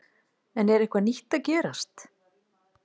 En er eitthvað nýtt að gerast?